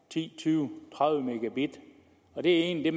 ti tyve tredive mbit og det er egentlig